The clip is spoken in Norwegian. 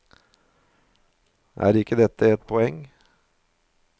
Er ikke det et poeng?